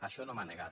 això no m’ho ha negat